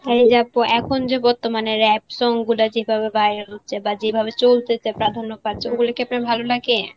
আপু এখন যে বর্তমানে rap song গুলা যেভাবে বাইর হচ্ছে বা যেভাবে চলতেছে প্রাধান্য পাচ্ছে ওগুলি কি আপনার ভালো লাগে?